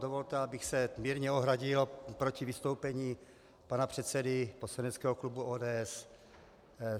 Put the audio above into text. Dovolte, abych se mírně ohradil proti vystoupení pana předsedy poslaneckého klubu ODS.